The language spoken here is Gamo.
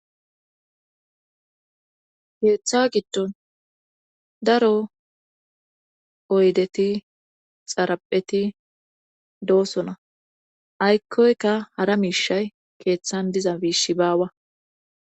Keeththa giddon daro oydeti xarapheti doosona aykkoyka hara miishay keeththan diza miishi baawa